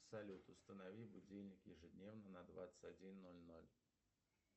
салют установи будильник ежедневно на двадцать один ноль ноль